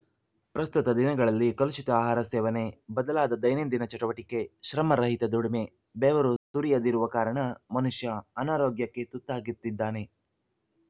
ಪ್ರಸ್ತುತ ದಿನಗಳಲ್ಲಿ ಕಲುಷಿತ ಆಹಾರ ಸೇವನೆ ಬದಲಾದ ದೈನಂದಿನ ಚಟುವಟಿಕೆ ಶ್ರಮ ರಹಿತ ದುಡಿಮೆ ಬೆವರು ಸುರಿಯದಿರುವ ಕಾರಣ ಮನುಷ್ಯ ಅನಾರೋಗ್ಯಕ್ಕೆ ತುತ್ತಾಗಿತ್ತಿದ್ದಾನೆ